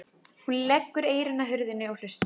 Hún leggur eyrun að hurðinni og hlustar.